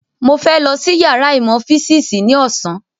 Mo fẹ́ lọ sí yàrá ìmọ̀ físìsì ní ọ̀sán